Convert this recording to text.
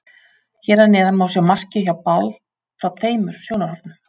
Hér að neðan má sjá markið hjá Ball frá tveimur sjónarhornum.